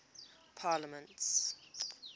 parliaments